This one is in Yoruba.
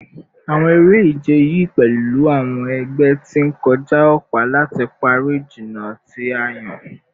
Awọn ere-ije yii pẹlu awọn ẹgbẹ ti n kọja ọpa lati pari ijinna ti a yan